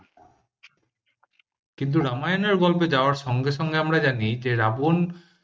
কিন্তু রামায়ণের গল্পে যাওয়ার সঙ্গে সঙ্গে আমরা জানি যে রাবন